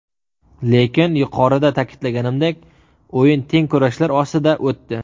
Lekin yuqorida ta’kidlaganimdek o‘yin teng kurashlar ostida o‘tdi.